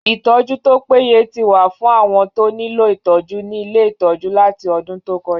Ìtọ́jú tó pé ye ti wà fún àwọn tó nílò ìtọ́jú ní ilé ìtọ́jú láti ọdún tó kọjá.